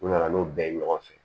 U nana n'o bɛɛ ye ɲɔgɔn fɛ